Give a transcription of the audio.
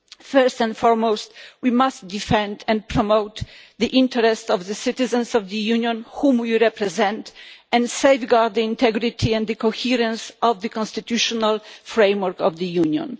First and foremost, we must defend and promote the interests of the citizens of the Union whom we represent, and safeguard the integrity and the coherence of the constitutional framework of the Union.